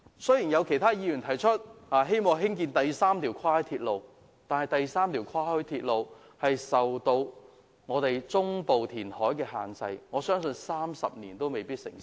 雖然有其他議員提出，希望興建第三條跨海鐵路，但此建議會受中部填海限制，相信30年內都未必成事。